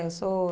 Eu sou...